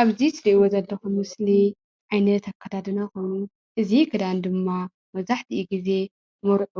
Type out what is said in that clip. ኣብዚ ትሪእዎ ዘለኹም ምስሊ ዓይነት ኣከዳድና ኾይኑ እዚ ክዳን ድማ መብዛሕታኡ ግዜ መርዑ